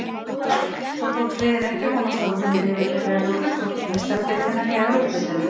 Þá tókst liðinu ekki að komast áfram í riðlakeppni Evrópu, hvorki í Meistaradeildina né Evrópudeildina.